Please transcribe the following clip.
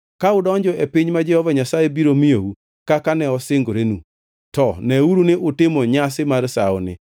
Ka udonjo e piny ma Jehova Nyasaye biro miyou kaka ne osingorenu, to neuru ni utimo nyasi mar sawoni.